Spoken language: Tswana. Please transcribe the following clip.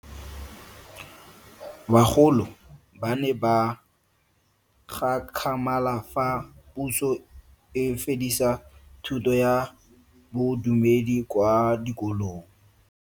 Bagolo ba ne ba gakgamala fa Puso e fedisa thuto ya Bodumedi kwa dikolong.